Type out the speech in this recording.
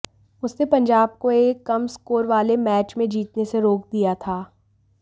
उसने पंजाब को एक कम स्कोर वाले मैच में जीतने से रोक दिया था